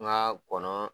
N ka kɔnɔ